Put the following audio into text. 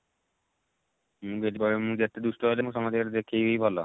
ମୁଁ ଯଦି କହିବ ମୁଁ ଯେତେ ଦୁଷ୍ଟ ହେଲେ ମୁଁ ସମସ୍ତଙ୍କ ଆଗରେ ଦେଖେଇବି ଭଲ